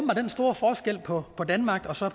den store forskel på på danmark og så